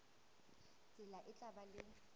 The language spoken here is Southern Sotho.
tsela e tla ba le